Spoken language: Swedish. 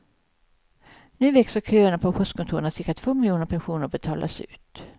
Nu växer köerna på postkontoren när cirka två miljoner pensioner betalas ut.